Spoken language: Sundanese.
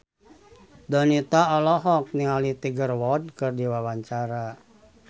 Donita olohok ningali Tiger Wood keur diwawancara